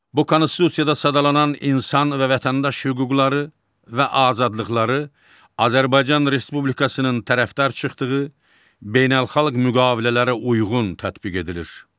Bu konstitusiyada sadalanan insan və vətəndaş hüquqları və azadlıqları Azərbaycan Respublikasının tərəfdar çıxdığı beynəlxalq müqavilələrə uyğun tətbiq edilir.